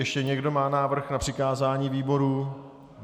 Ještě někdo má návrh na přikázání výboru?